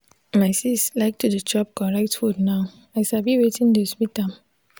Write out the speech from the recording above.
my sis like to dey chop correct food now i sabi wetin dey sweet am.